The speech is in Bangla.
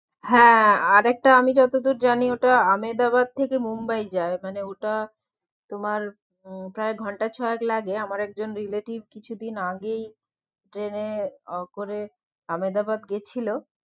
হ্যাঁ আর একটা আমি যতদূর জানি ওটা আহমেদাবাদ থেকে মুম্বাই যায়, মানে ওটা তোমার উম প্রায় ঘন্টা ছয়েক লাগে আমার একজন relative কিছু দিন আগেই ট্রেনে আহ করে আমেদাবাদ গেছিলো